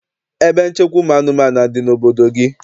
Ebe nchekwa ụmụ anụmanụ adị n'obodo gị?